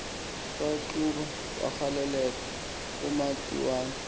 kwaqhuba wagaleleka umatiwana